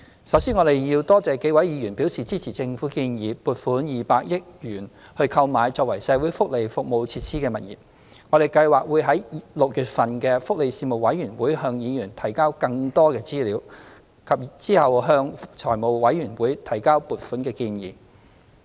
首先，我多謝數位議員表示支持政府建議撥款200億元購買作為社會福利服務設施的物業，我們計劃於6月份的福利事務委員會會議向議員提交更多資料，並稍後向財務委員會提交撥款建議。